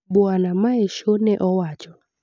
Bwana Measho ne owacho